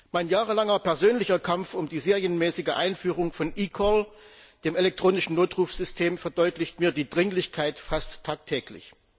Mein jahrelanger persönlicher Kampf um die serienmäßige Einführung von eCall, dem elektronischen Notrufsystem, verdeutlicht mir die Dringlichkeit fast tagtäglich.